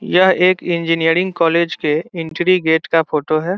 यह एक engineering college के एंट्री गेट का फोटो है।